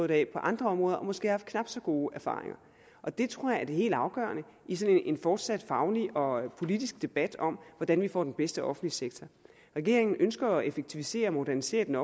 det af på andre områder og måske have haft knap så gode erfaringer og det tror jeg er det helt afgørende i sådan en fortsat faglig og politisk debat om hvordan vi får den bedste offentlige sektor regeringen ønsker at effektivisere og modernisere den